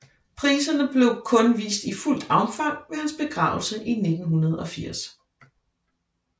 Priserne blev kun vist i fuldt omfang ved hans begravelse i 1980